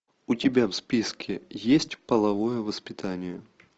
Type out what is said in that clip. у тебя в списке есть половое воспитание